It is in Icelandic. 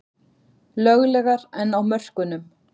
Löglegar en á mörkunum